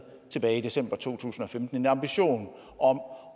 tilbage i december to tusind og femten nemlig ambitionen om